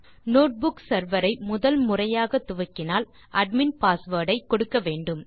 notebook server ஐ முதல் முறையாக துவக்கினால் அட்மின் பாஸ்வேர்ட் ஐ கொடுக்க வேண்டும்